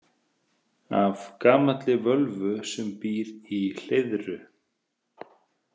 Af gamalli völvu sem býr í Hleiðru.